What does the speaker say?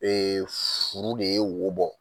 Eefuru de ye wo bɔ.